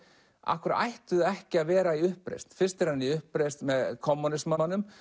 af hverju ættu þau ekki að vera í uppreisn fyrst er hann í uppreisn með kommúnismanum